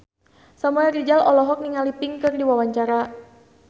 Samuel Rizal olohok ningali Pink keur diwawancara